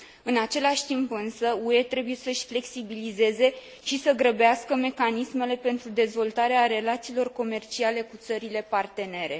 În același timp, însă, UE trebuie să își flexibilizeze și să grăbească mecanismele pentru dezvoltarea relațiilor comerciale cu țările partenere.